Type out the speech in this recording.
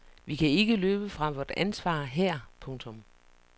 Vi kan ikke løbe fra vort ansvar her. punktum